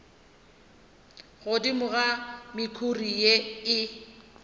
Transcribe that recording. godimo ga mekhuri ye e